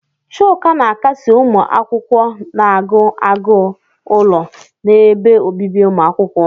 Chuka na-akasi ụmụ akwụkwọ na-agụ agụụ ụlọ n'ebe obibi umuakwukwo.